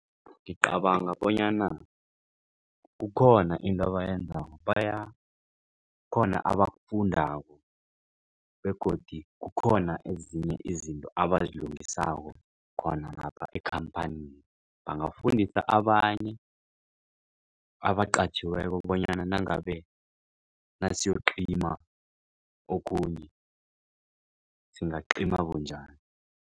Ngicabanga bonyana kukhona into abayenzeko kukhona abakufundako begodu kukhona ezinye izinto abazilungisako khona lapha ekhamphanini. Bangafundisa abanye abaqatjhiweko bonyana nangabe nasiyocima okhunye singacima bunjani.